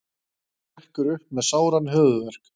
Hrekkur upp með sáran höfuðverk.